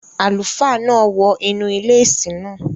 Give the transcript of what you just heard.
Àlùfáà náà wọ inú ilé ìsìn náà.